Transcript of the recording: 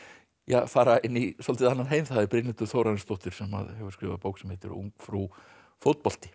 fara inn í svolítið annan heim það er Brynhildur Þórarinsdóttir sem hefur skrifað bók sem heitir ungfrú fótbolti